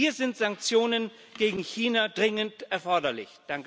Hier sind Sanktionen gegen China dringend erforderlich.